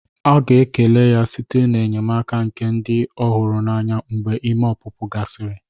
A ga-ekele ya site n'enyemaka nke ndị ọ hụrụ n'anya mgbe ime ọpụpụ gasịrị.